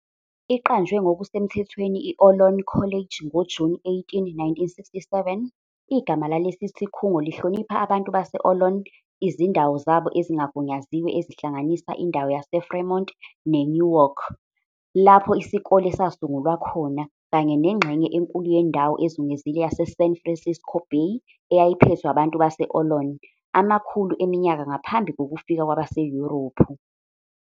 Iqanjwe ngokusemthethweni i-Ohlone College ngoJuni 18, 1967, igama lalesi sikhungo lihlonipha abantu base- Ohlone, izindawo zabo ezingagunyaziwe ezihlanganisa indawo yaseFremont neNewark lapho isikole sasungulwa khona, kanye nengxenye enkulu yendawo ezungezile yaseSan Francisco Bay, eyayiphethwe abantu base-Ohlone. amakhulu eminyaka ngaphambi kokufika kwabaseYurophu.